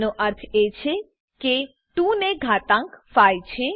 આનો અર્થ એ છે કે 2 ને ઘાતાંક 5 છે